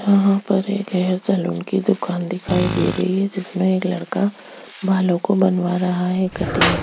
यहाँ पे एक सैलून की दुकान दिखाई दे रही है जिसमे एक लड़का बालो को बनवा रहा है कटिंग --